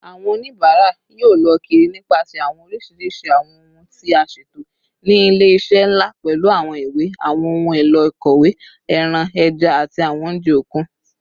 Awọn onibara yoo lọ kiri nipasẹ awọn oriṣiriṣi awọn ohun ti a ṣeto ni ile-iṣẹ nla, pẹlu awọn iwe, awọn ohun elo ikọwe, ẹran, ẹja, ati awọn ounjẹ okun.